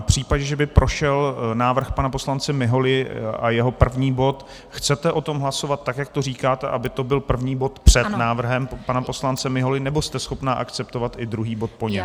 V případě, že by prošel návrh pana poslance Miholy a jeho první bod, chcete o tom hlasovat tak, jak to říkáte, aby to byl první bod před návrhem pana poslance Miholy, nebo jste schopna akceptovat i druhý bod po něm?